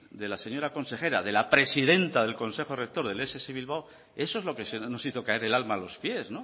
de la señora consejera de la presidenta del consejo rector del ess bilbao eso es lo que nos hizo caer el alma a los pies